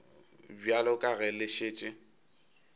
bjalo ka ge le šetše